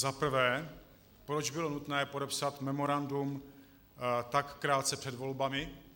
Za prvé, proč bylo nutné podepsat memorandum tak krátce před volbami.